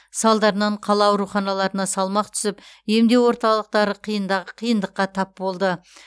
салдарынан қала ауруханаларына салмақ түсіп емдеу орталықтары қиында қиындыққа тап болды